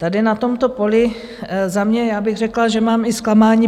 Tady na tomto poli za mě, já bych řekla, že mám i zklamání.